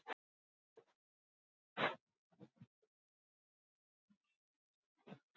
Já, en eitthvað verðum við að gera, sagði Maggi Lóu.